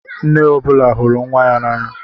Nne ọ bụla hụrụ nwa ya n'anya.